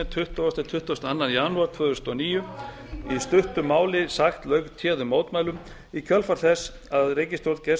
tuttugasta til tuttugasta og annan janúar tvö þúsund og níu í stuttu máli sagt lauk téðum mótmælum í kjölfar þess að ríkisstjórn geirs